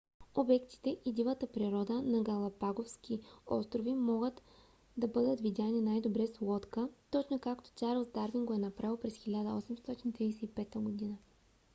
обектите и дивата природа на галапагоските острови могат да бъдат видяни най-добре с лодка точно както чарлз дарвин го е направил през 1835 г